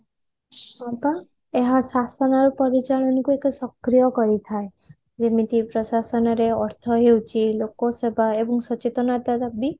ହଁ ପା ଏହା ଶାସନର ପରିଚାଳନକୁ ଏକ ସକ୍ରିୟ କରିଥାଏ ଯେମିତି ପ୍ରଶାସନରେ ଅର୍ଥ ହେଉଛି ଲୋକସେବା ଏବଂ ସଚେତନତା ର ବି